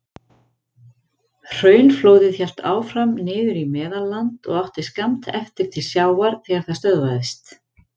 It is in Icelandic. Hraunflóðið hélt áfram niður í Meðalland og átti skammt eftir til sjávar þegar það stöðvaðist.